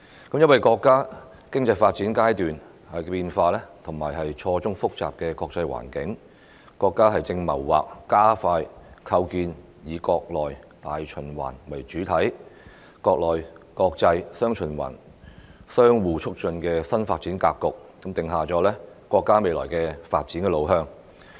因應自身經濟發展的階段變化及錯綜複雜的國際環境，國家正謀劃加快構建"以國內大循環為主體、國內國際'雙循環'相互促進"新發展格局，訂下國家未來的發展路向。